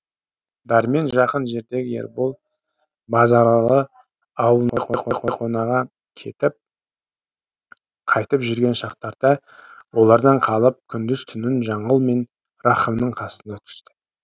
дәрмен жақын жердегі ербол базаралы аулына абай кетіп қайтып жүрген шақтарда олардан қалып күндіз түнін жаңыл мен рахымның қасында өткізді